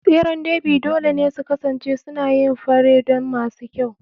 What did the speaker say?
tseren Derby dole ne su kasance suna yin fare don masu kyau.